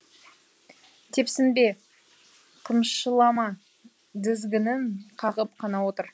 тепсінбе қымшылама дізгінін қағып қана отыр